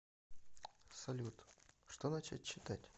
салют что начать читать